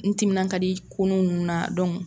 N timina ka di konun nun na